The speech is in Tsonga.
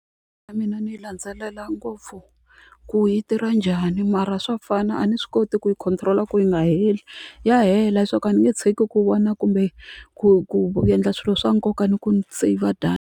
Na mina ndzi yi landzelela ngopfu ku yi tirha njhani mara swa fana a ni swi koti ku yi control-a ku yi nga heli ya hela swa ku a ni nge tshiki ku vona kumbe ku ku endla swilo swa nkoka ni ku ni save data.